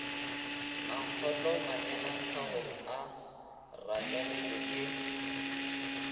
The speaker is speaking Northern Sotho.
mankgohlo manyelaphagong a rakeletšwe ke